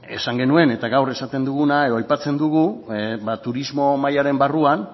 esan genuen eta gaur esaten duguna edo aipatzen dugu ba turismo mahaiaren barruan